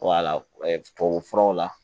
wala tubabu furaw la